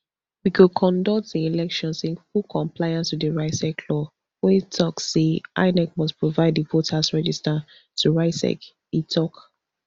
we go conduct di elections in full compliance wit di rsiec law wey tok say inec must provide di voters register to rsiec e tok